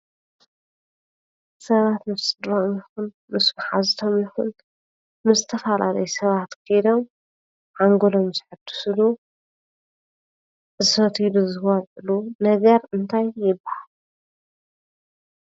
ሰባት ምስ ስድርኦም ይኹን ምስ መሓዙቶም ይኹን ምስ ዝተፈላለዩ ሰባት ኾይዶም ሓንጎሎም ዘሕድስሉ ዝሰትይሉ ዝበልዕሉ ነገር እንታይ ይባሃል?